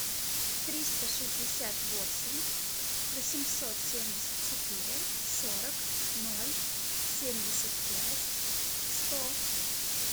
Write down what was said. триста шестьдесят восемь восемьсот семьдесят четыре сорок ноль семьдесят пять сто